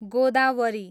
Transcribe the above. Godavari